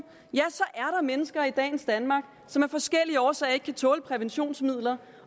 og mennesker i dagens danmark som af forskellige årsager ikke kan tåle præventionsmidler